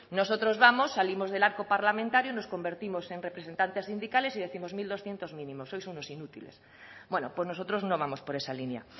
nosotros vamos salimos del arco parlamentario y nos convertimos en representantes sindicales y décimos mil doscientos mínimo sois unos inútiles bueno pues nosotros no vamos por esa línea